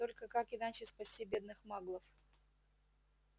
только как иначе спасти бедных маглов